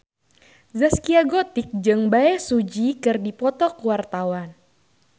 Zaskia Gotik jeung Bae Su Ji keur dipoto ku wartawan